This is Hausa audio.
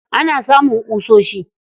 Ana samun ƙusoshi